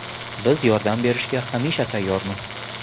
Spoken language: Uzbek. Biz yordam berishga hamisha tayyormiz.